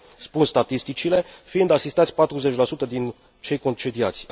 spun statisticile, fiind asistați 40 din cei concediați.